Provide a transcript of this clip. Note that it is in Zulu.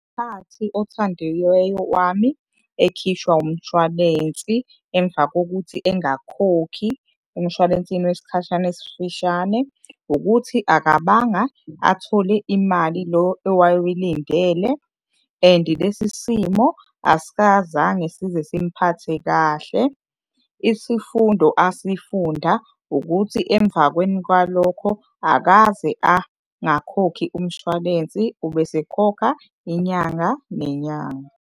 Ngesikhathi othandiweyo wami ekhishwa umshwalensi emva kokuthi engakhokhi emshwalensini wesikhashana esifishane ukuthi akabanga athole imali lo owaye uyilindele, and lesi simo size simuphathe kahle. Isifundo asifunda ukuthi emva kwalokho akaze angakhokhi umshwalensi, ubesekhokha inyanga nenyanga.